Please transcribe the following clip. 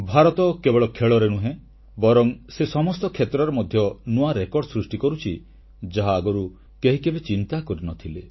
ଭାରତ କେବଳ ଖେଳରେ ନୁହେଁ ବରଂ ସେ ସମସ୍ତ କ୍ଷେତ୍ରରେ ମଧ୍ୟ ନୂଆ ରେକର୍ଡ ସୃଷ୍ଟି କରୁଛି ଯାହା ଆଗରୁ କେହି କେବେ ଚିନ୍ତା କରିନଥିଲେ